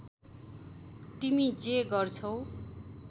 तिमी जे गर्छौ